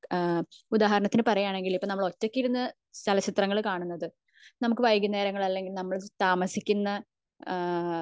ഏഹ്ഹ് ഉദാഹരണത്തിന് പറയുകയാണെങ്കിൽ ഇപ്പൊ നമ്മൾ ഒറ്റക് ഇരുന്ന് ചലച്ചിത്രം കാണുന്നത് നമുക് വൈകുന്നേരങ്ങളിൽ നമ്മൾ താമസിക്കുന്ന ഏഹ്ഹ്